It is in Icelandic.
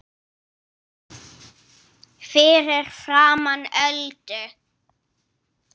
Fyrir framan Öldu.